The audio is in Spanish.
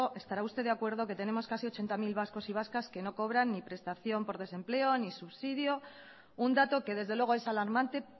estará usted de acuerdo que tenemos casi ochenta mil vascos y vascas que no cobran ni prestación por desempleo ni subsidio un dato que desde luego es alarmante